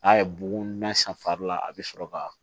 A ye bugun na san fari la a bɛ sɔrɔ ka